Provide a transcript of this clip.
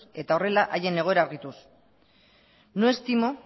eta horrela haien egoera argituz no estimo